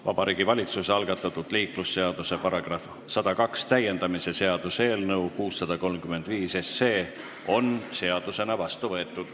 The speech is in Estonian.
Vabariigi Valitsuse algatatud liiklusseaduse § 102 täiendamise seaduse eelnõu 635 on seadusena vastu võetud.